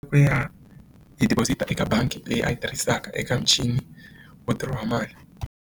ya hi deposit eka bangi leyi a yi tirhisaka eka muchini wo dirowa mali.